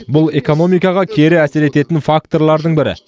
бұл экономикаға кері әсер ететін факторлардың бірі